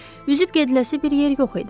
Üzüb gediləsi bir yer yox idi.